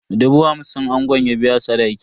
Dubu hamsin angon ya biya sadaki.